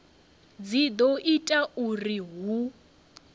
dzi do ita uri hu